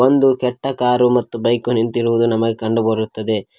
ಒಂದು ಕೆಟ್ಟ ಕಾರು ಮತ್ತು ಬೈಕು ನಿಂತಿರುವುದು ನಮಗೆ ಕಂಡು ಬರುತ್ತದೆ.